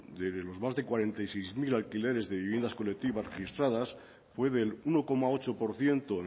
de los de más de cuarenta y seis mil alquileres de viviendas colectivas registradas fue el uno coma ocho por ciento